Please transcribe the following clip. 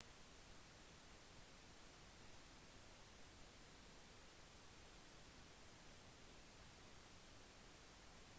if you booked your flights and accommodation for 2020 before the postponement was announced you may have a tricky situation